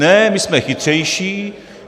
Ne, my jsme chytřejší.